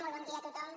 molt bon dia a tothom